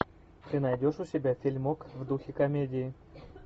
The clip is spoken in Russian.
ты найдешь у себя фильмок в духе комедии